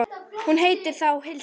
Hún heitir þá Hildur!